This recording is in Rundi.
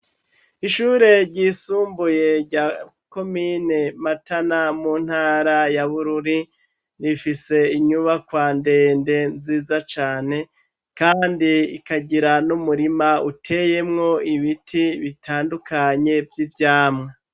Ishure ryisumbuye rya komine matana ,mu ntara ya bururi, rifise inyubakwa ndende nziza cane ,kandi ikagira n'umurima uteyemwo ibiti bitandukanye, vy'ivyamwa.